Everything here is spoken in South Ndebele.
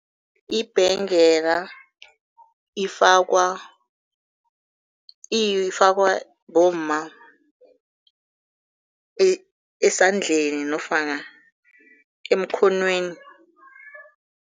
Ibhengela ifakwa ifakwa bomma esandleni nofana emkhonweni.